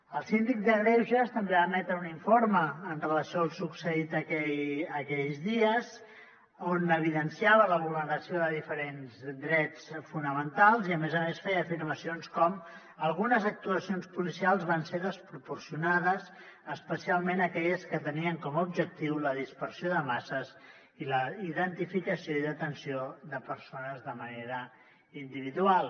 el síndic de greuges també va emetre un informe amb relació al succeït aquells dies on evidenciava la vulneració de diferents drets fonamentals i a més a més feia afirmacions com algunes actuacions policials van ser desproporcionades especialment aquelles que tenien com a objectiu la dispersió de masses i la identificació i detenció de persones de manera individual